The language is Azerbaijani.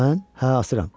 Mən, hə asıram.